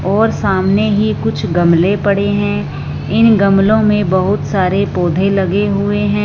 और सामने ही कुछ गमले पड़े हैं इन गमले में बहुत सारे पौधे लगे हुए हैं।